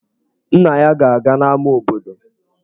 Nna ya ga-aga n'ámá obodo.